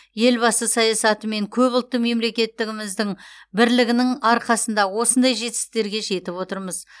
елбасы саясаты мен көпұлтты мемлекетіміздің бірлігінің арқасында осындай жетістіктерге жетіп отырмыз